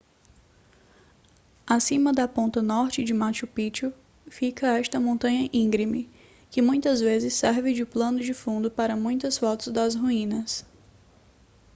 acima da ponta norte de machu picchu fica esta montanha íngreme que muitas vezes serve de pano de fundo para muitas fotos das ruínas